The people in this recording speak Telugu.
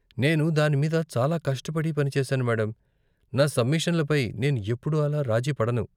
నేను దాని మీద చాలా కష్టపడి పని చేశాను మేడమ్, నా సబ్మిషన్ల పై నేను ఎప్పుడూ అలా రాజీ పడను.